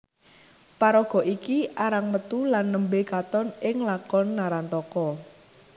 Paraga iki arang metu lan nembé katon ing lakon Narantaka